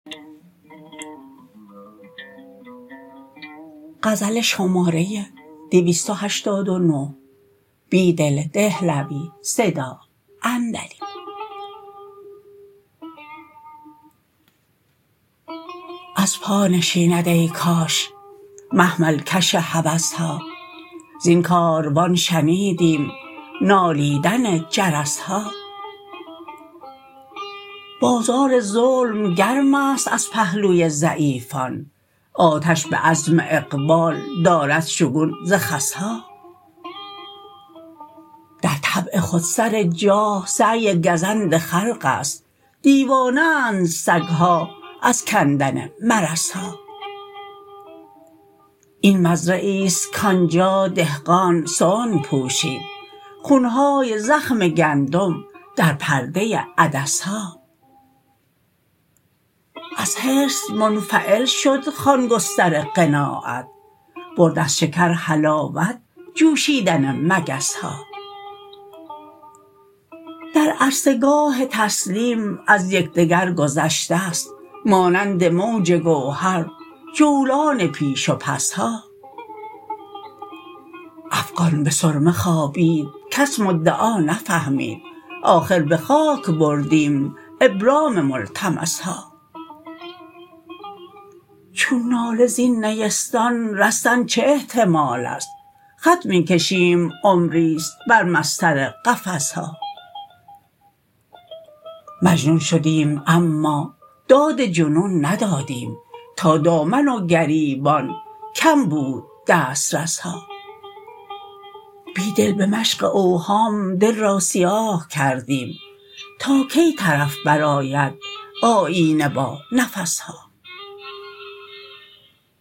از پا نشیند ای کاش محمل کش هوس ها زین کاروان شنیدیم نالیدن جرس ها بازار ظلم گرم است از پهلوی ضعیفان آتش به عزم اقبال دارد شگون ز خس ها در طبع خودسر جاه سعی گزند خلق است دیوانه اند سگ ها از کندن مرس ها ای مزرعی است کآنجا دهقان صنع پوشید خون های زخم گندم در پرده عدس ها از حرص منفعل شد خوان گستر قناعت برد از شکر حلاوت جوشیدن مگس ها در عرصه گاه تسلیم از یکدگر گذشته ست مانند موج گوهر جولان پیش و پس ها افغان به سرمه خوابید کس مدعا نفهمید آخر به خاک بردیم ابرام ملتمس ها چون ناله زین نیستان رستن چه احتمال است خط می کشیم عمری ست بر مسطر قفس ها مجنون شدیم اما داد جنون ندادیم تا دامن و گریبان کم بود دسترس ها بیدل به مشق اوهام دل را سیاه کردیم تا کی طرف برآید آیینه با نفس ها